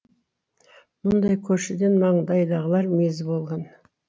мұндай көршіден маңдайдағылар мезі болған